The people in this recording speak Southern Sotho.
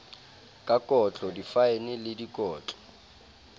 ka kotlo difaene le dikotlo